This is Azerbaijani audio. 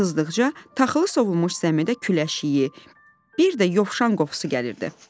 Gün qızdıqca, taxılı sovulmuş zəmidə küləş iyi, bir də yovşan qoxusu gəlirdi.